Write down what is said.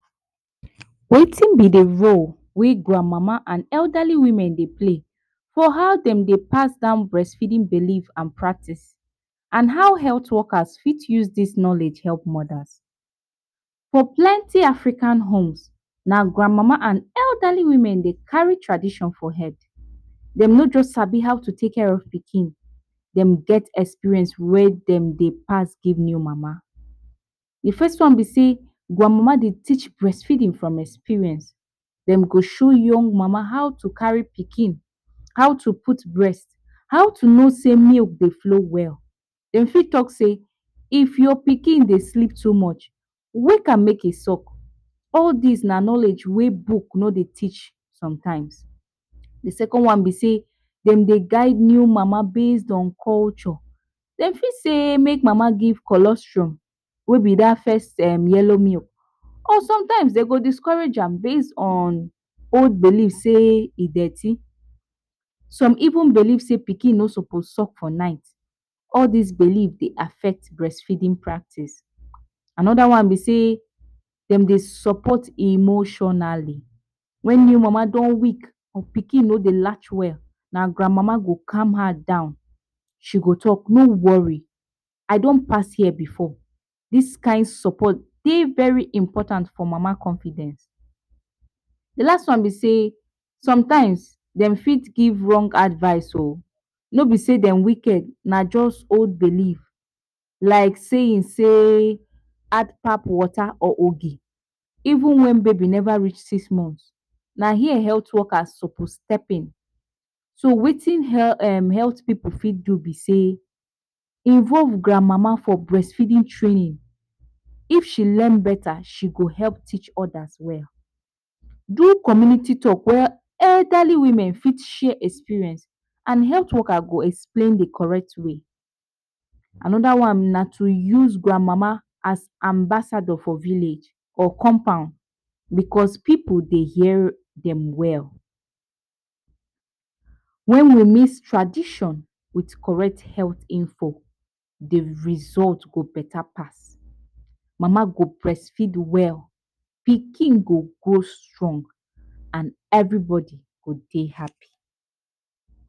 Wetin be de role whey grand mama and elderly women dey play, for how dem dey pass down breastfeeding belief and practice and how health workers fit use dis knowledge help moders. for plenty African homes na grand mama and elderly women dey carry tradition for head dem no just sabi how to take care of pikin them get experience whey dem dey pass give new mama. de first tin be sey grand mama dey teach breast feeding from experience them go show new mama how to carry pikin, how to put breast, how to no sey milk go flow well. them fit talk say if your pikin dey sleep too much wake am make him suck all dis na knowledge whey book no dey teach sometime. De second one be sey dem dey guild new mama based on culture dem fit sey make mama give cholesterol whey be dat first yellow milk or sometimes dem go discourage am base on old believe sey e dirty, some even believe sey pikin no suppose suck for night all these believe dey affect breast feeding practice another one be sey dem dey support emotionally when new mama don weak abi pikin no dey latch well na grand mama go calm her down, she go sey no worry I don pass here before dis kind support dey very important for mama confidence. De last one be sey sometime dem fit give wrong advice oo no be sey dem wicked na just old believe like seying sey add pap water or even wen baby never reach six month na here health workers suppose step in so wetin health pipu fit do be sey involve grand mama for breast feeding training, if she learn better she go help teach other well do community talk where elderly women fit share experience and health worker go explain d correct way. Another one na to use grand mama as ambassador for village or compound because pipu dey hear dem well wen we mix tradition with correct health info de result go beta pass mama go breastfeed well pikin go grow strong and every body go dey happy.